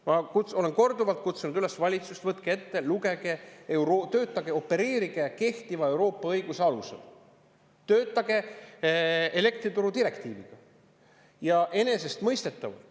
Ma olen korduvalt valitsust üles kutsunud: võtke ette, lugege, töötage, opereerige kehtiva Euroopa õiguse alusel, töötage elektrituru direktiiviga!